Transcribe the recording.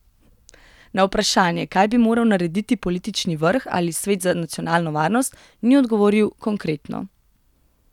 Na vprašanje, kaj bi moral narediti politični vrh ali svet za nacionalno varnost, ni odgovoril konkretno.